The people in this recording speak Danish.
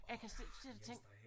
Jeg kan sidde sidde og tænke